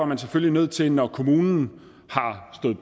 man selvfølgelig nødt til når kommunen